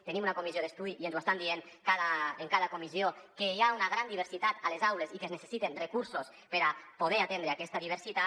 tenim una co·missió d’estudi i ens estan dient en cada comissió que hi ha una gran diversitat a les aules i que es necessiten recursos per a poder atendre aquesta diversitat